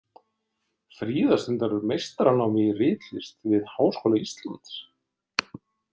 Fríða stundar meistaranám í ritlist við Háskóla Íslands.